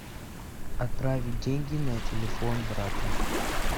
отправить деньги на телефон брату